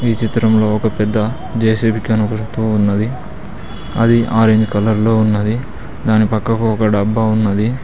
చిత్రంలో ఒక పెద్ద జే_సి_బి కనబడుతూ ఉన్నది అది ఆరేంజ్ కలర్ లో ఉన్నది దాని పక్కకు ఒక డబ్బా ఉన్నది.